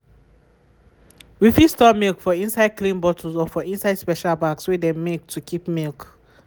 we fit store milk for inside clean bottles or for inside special bags wey dem make to keep milk.